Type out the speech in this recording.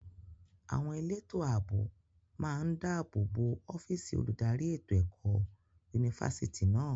Àwọn elétò ààbò máa ń dàbò bo ọ́físì olùdarí ètò ẹ̀kọ́ yunifásítì náà.